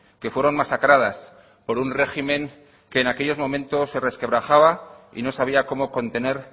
que fueron masacradas por un régimen que en aquellos momentos se resquebrajaba y no sabía cómo contener